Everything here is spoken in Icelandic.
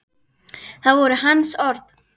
Það voru hans orð.